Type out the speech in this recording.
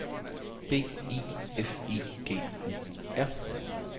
B I F I G U R